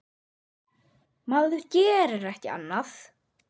Maður gerir ekki annað!